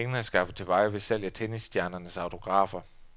Pengene er skaffet til veje ved salg af tennisstjernernes autografer.